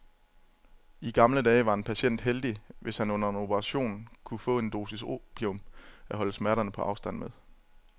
I gamle dage var en patient heldig, hvis han under en operation kunne få en dosis opium at holde smerterne på afstand med.